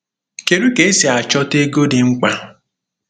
Kedu ka esi achọta ego dị mkpa?